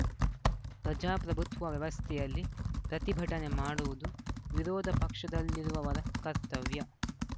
ಪ್ರಜಾಪ್ರಭುತ್ವ ವ್ಯವಸ್ಥೆಯಲ್ಲಿ ಪ್ರತಿಭಟನೆ ಮಾಡುವುದು ವಿರೋಧ ಪಕ್ಷದಲ್ಲಿರುವವರ ಕರ್ತವ್ಯ